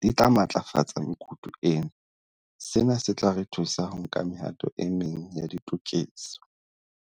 di tla matlafatsa mekutu ena. Sena se tla re thusa ho nka mehato e meng ya ditokiso.